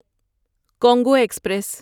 Congo express